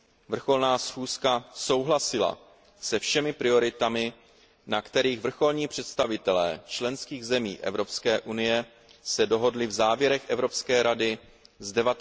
Vrcholná schůzka souhlasila se všemi prioritami, na kterých se vrcholní představitelé členských zemí EU dohodli v závěrech Evropské rady